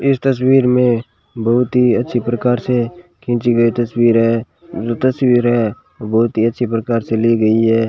इस तस्वीर में बहुत ही अच्छी प्रकार से खींची गई तस्वीर है जो तस्वीर है वो बहुत ही अच्छी प्रकार से ली गई है।